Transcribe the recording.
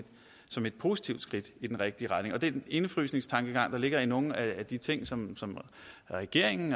som et positivt skridt i den rigtige retning den indefrysningstankegang der ligger i nogle af de ting som regeringen